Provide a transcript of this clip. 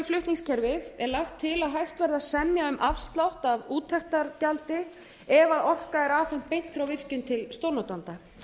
flutningskerfið er lagt til að hægt verði að semja um afslátt á úttektargjaldi ef orka er afhent beint frá virkjun til stórnotanda